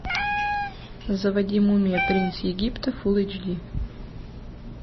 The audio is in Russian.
заводи мумия принц египта фул эйч ди